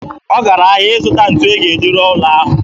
Ọ gara ahịa ịzụta ntu ọ ga-eji rụọ ụlọ.